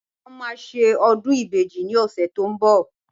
Wọ́n máa ṣe ọdún ìbejì ní ọ̀sẹ̀ tó ń bọ̀